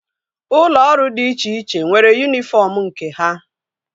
Ụlọ ọrụ dị iche iche nwere yunifọm nke ha